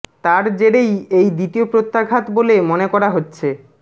তার জেরেই এই দ্বিতীয় প্রত্যাঘাত বলে মনে করা হচ্ছে